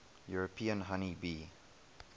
european honey bee